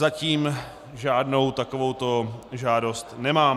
Zatím žádnou takovouto žádost nemám.